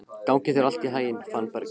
Gangi þér allt í haginn, Fannberg.